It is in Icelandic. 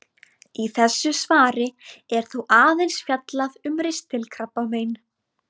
Í þessu svari er þó aðeins fjallað um ristilkrabbamein.